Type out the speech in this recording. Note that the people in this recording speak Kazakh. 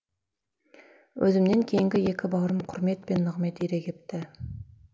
өзімнен кейінгі екі бауырым құрмет пен нығмет ере кепті